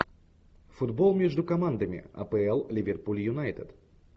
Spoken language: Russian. футбол между командами апл ливерпуль юнайтед